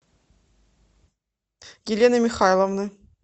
елены михайловны